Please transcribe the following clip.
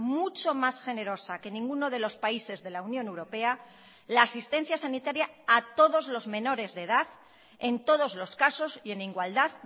mucho más generosa que ninguno de los países de la unión europea la asistencia sanitaria a todos los menores de edad en todos los casos y en igualdad